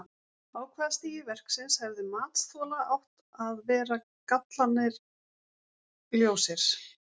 Á hvaða stigi verksins hefði matsþola átt að vera gallarnir ljósir?